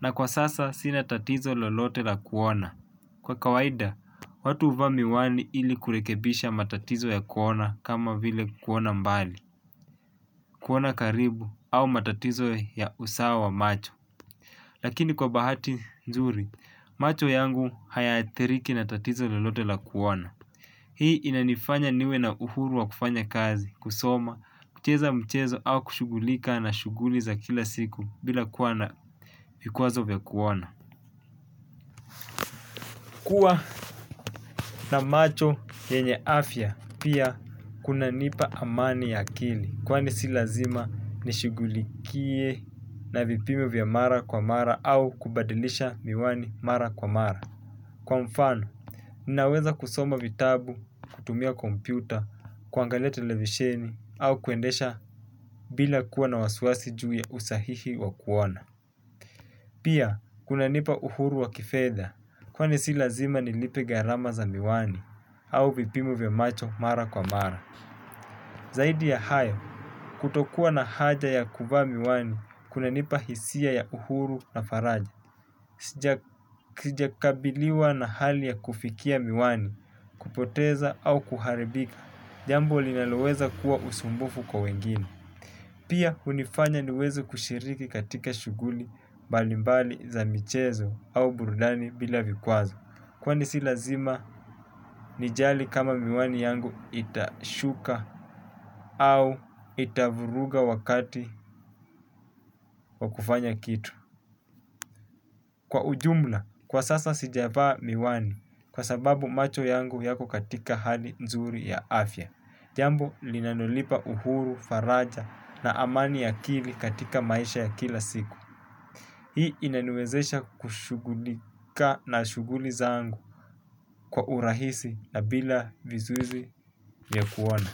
na kwa sasa sina tatizo lolote la kuona. Kwa kawaida, watu uvaa miwani ili kurekebisha matatizo ya kuona kama vile kuona mbali, kuona karibu au matatizo ya usawa wa macho. Lakini kwa bahati nzuri, macho yangu haya athiriki na tatizo lolote la kuona. Hii inanifanya niwe na uhuru wa kufanya kazi, kusoma, kucheza mchezo au kushugulika na shuguli za kila siku bila kuwa na vikwazo vya kuona. Kuwa na macho yenye afya pia kuna nipa amani ya akili kwani si lazima nishugulikie na vipimo vya mara kwa mara au kubadilisha miwani mara kwa mara. Kwa mfano, ninaweza kusoma vitabu, kutumia kompyuta, kuangalia televisheni, au kuendesha bila kuwa na wasiwasi juu ya usahihi wa kuona. Pia, kuna nipa uhuru wa kifedha, kwani si lazima nilipe gharama za miwani, au vipimo vya macho mara kwa mara. Zaidi ya hayo, kutokuwa na haja ya kuvaa miwani, kuna nipa hisia ya uhuru na faraja. Sijakabiliwa na hali ya kufikia miwani. Kupoteza au kuharibika, jambo linaloweza kuwa usumbufu kwa wengine. Pia hunifanya niweze kushiriki katika shuguli balimbali za michezo au burudani bila vikwazo. Kwani si lazima, nijali kama miwani yangu itashuka au itavuruga wakati wa kufanya kitu. Kwa ujumla, kwa sasa sijavaa miwani kwa sababu macho yangu yako katika hali nzuri ya afya. Jambo linalonipa uhuru, faraja na amani ya akili katika maisha ya kila siku. Hii inaniwezesha kushugulika na shuguli zangu kwa urahisi na bila vizuizi ya kuona.